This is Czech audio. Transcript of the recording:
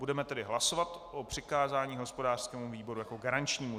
Budeme tedy hlasovat o přikázání hospodářskému výboru jako garančnímu.